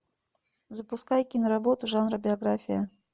запускай киноработу жанра биография